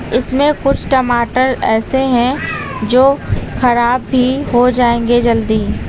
इसमें कुछ टमाटर ऐसे हैं जो खराब भी हो जाएंगे जल्दी।